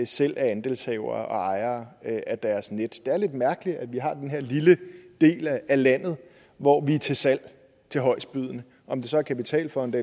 selv er andelshavere og ejere af deres net det er lidt mærkeligt at vi har den her lille del af landet hvor vi er til salg til højestbydende om det så er kapitalfonde